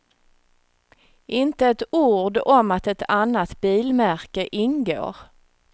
Inte ett ord om att ett annat bilmärke ingår.